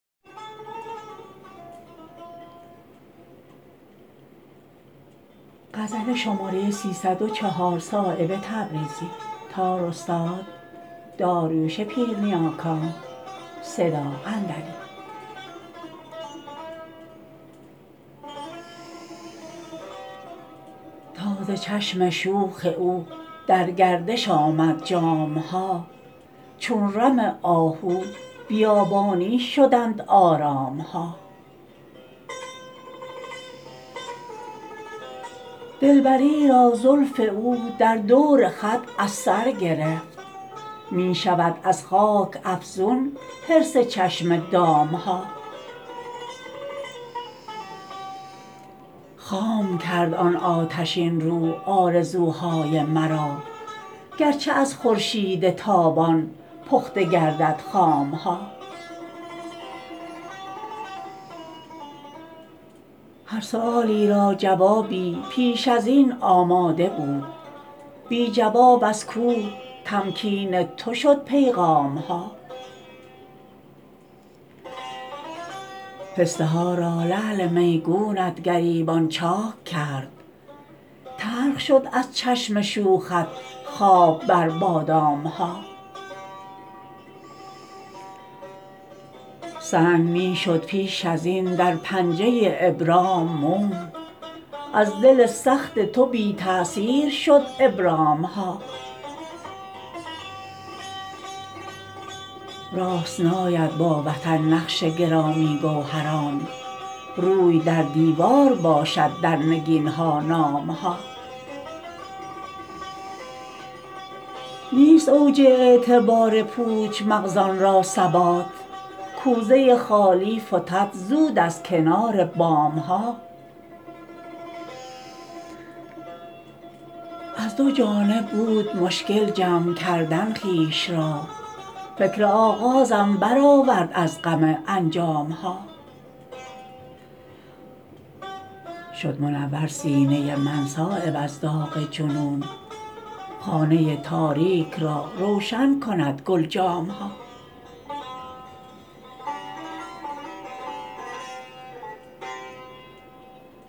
تا ز چشم شوخ او در گردش آمد جام ها چون رم آهو بیابانی شدند آرام ها دلبری را زلف او در دور خط از سر گرفت می شود از خاک افزون حرص چشم دام ها خام کرد آن آتشین رو آرزوهای مرا گرچه از خورشید تابان پخته گردد خام ها هر سؤالی را جوابی پیش ازین آماده بود بی جواب از کوه تمکین تو شد پیغام ها پسته ها را لعل میگونت گریبان چاک کرد تلخ شد از چشم شوخت خواب بر بادام ها سنگ می شد پیش ازین در پنجه ابرام موم از دل سخت تو بی تأثیر شد ابرام ها راست ناید با وطن نقش گرامی گوهران روی در دیوار باشد در نگین ها نام ها نیست اوج اعتبار پوچ مغزان را ثبات کوزه خالی فتد زود از کنار بام ها از دو جانب بود مشکل جمع کردن خویش را فکر آغازم برآورد از غم انجام ها شد منور سینه من صایب از داغ جنون خانه تاریک را روشن کند گلجام ها